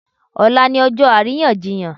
Ọ̀la ni ọjọ́ àríyànjiyàn.